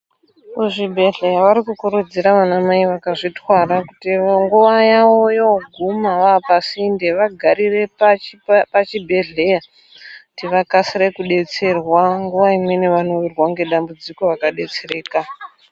Kuzvibhedhlera vari kukurudzira vana mai vakazvitwara kuti nguwa yavo voguma pasinde vagarire pachibhedhlera kuti vakasire kudetserwa nguwa imweni pachibhedhlera vakasire kudetserwa Nguwa imweni vanowirwa nedambudziko vakadetsereka.